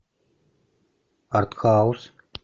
арт хаус